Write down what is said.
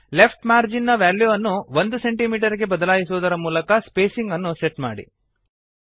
left margin ನ ವ್ಯಾಲ್ಯೂವನ್ನು 1 centimetre ಗೆ ಬದಲಾಯಿಸುವುದರ ಮೂಲಕ ಸ್ಪೇಸಿಂಗ್ ಅನ್ನು ಸೆಟ್ ಮಾಡಿ